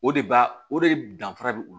O de b'a o de danfara be o la